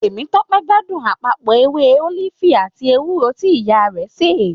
Temitope gbádùn àpapọ ewé ólífì àti ewúro ti ìyàwó rẹ ṣe.